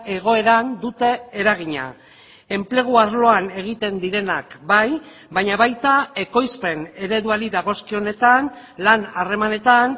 egoeran dute eragina enplegu arloan egiten direnak bai baina baita ekoizpen ereduari dagozkionetan lan harremanetan